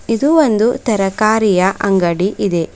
ಇದು ಒಂದು ತರಕಾರಿಯ ಅಂಗಡಿ ಇದೆ.